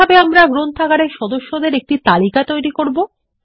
কিভাবে আমরা গ্রন্থাগারের সদস্যদের একটি তালিকা তৈরি করব